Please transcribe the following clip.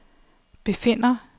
befinder